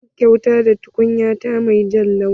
Zan yi kyauta da tukunya ta mai jan launi.